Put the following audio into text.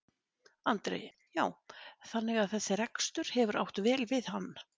Andri: Já þannig að þessi rekstur hefur átt vel við hann?